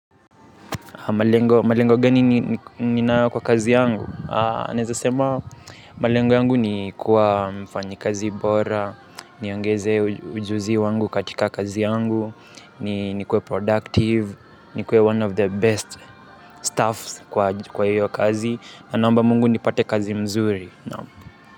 Malengo, malengo gani ni ninayo kwa kazi yangu? Neza sema malengo yangu ni kuwa mfanyikazi bora, niongeze ujuzi wangu katika kazi yangu, ni kuwe productive, ni kuwe one of the best staffs kwa hiyo kazi, na naomba mungu nipate kazi mzuri.